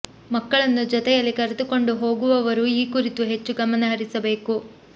ಮಕ್ಕಳನ್ನು ಜೊತೆಯಲ್ಲಿ ಕರೆದುಕೊಂಡು ಹೋಗು ವವರು ಈ ಕುರಿತು ಹೆಚ್ಚು ಗಮನಹರಿಸಬೇಕು